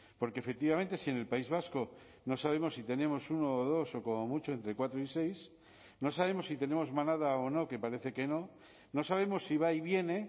porque efectivamente si en el país vasco no sabemos si tenemos uno o dos o como mucho entre cuatro y seis no sabemos si tenemos manada o no que parece que no no sabemos si va y viene